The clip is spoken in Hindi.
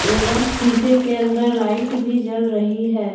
एवं शीशे के अंदर लाइट भी जल रही है।